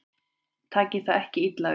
Takið það ekki illa upp.